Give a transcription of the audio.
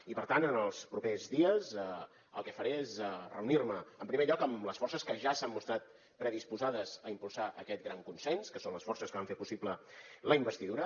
i per tant en els propers dies el que faré és reunir me en primer lloc amb les forces que ja s’han mostrat predisposades a impulsar aquest gran consens que són les forces que van fer possible la investidura